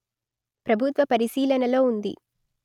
ప్రభుత్వ పరిశీలనలో ఉంది